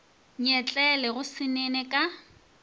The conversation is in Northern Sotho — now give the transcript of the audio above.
nyetlele go se nene ka